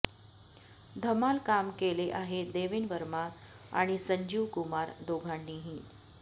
धमाल काम केले आहे देवेन वर्मा आणि संजीव कुमार दोघांनीही